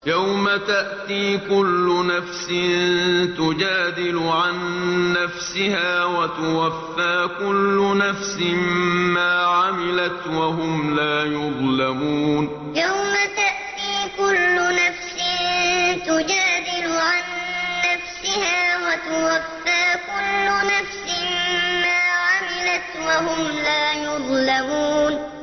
۞ يَوْمَ تَأْتِي كُلُّ نَفْسٍ تُجَادِلُ عَن نَّفْسِهَا وَتُوَفَّىٰ كُلُّ نَفْسٍ مَّا عَمِلَتْ وَهُمْ لَا يُظْلَمُونَ ۞ يَوْمَ تَأْتِي كُلُّ نَفْسٍ تُجَادِلُ عَن نَّفْسِهَا وَتُوَفَّىٰ كُلُّ نَفْسٍ مَّا عَمِلَتْ وَهُمْ لَا يُظْلَمُونَ